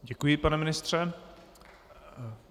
Děkuji, pane ministře.